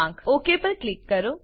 okay પર click કરો